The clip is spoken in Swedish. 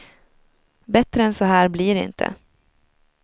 Bättre än så här blir det inte.